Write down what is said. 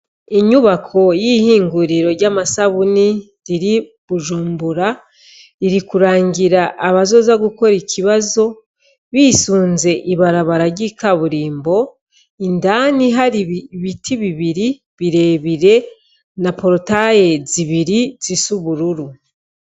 Inyubako y'ihinguriro ry'amasabuni iri Bujumbura, iri kurangira abazoza gukora ikibazo bisunze ibarabara ry'ikaburimbo, indani hari ibiti bibiri birebire na porotaye zibiri zisa ubururu.